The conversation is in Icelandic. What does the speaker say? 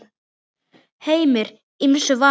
Heimir: Ýmsu vanur?